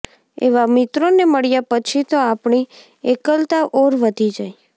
એવા મિત્રોને મળ્યા પછી તો આપણી એકલતા ઔર વધી જાય